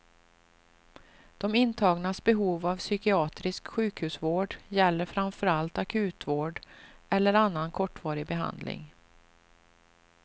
De intagnas behov av psykiatrisk sjukhusvård gäller framför allt akutvård eller annan kortvarig behandling.